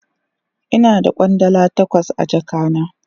Ina da Kwandala takwas a jaka na.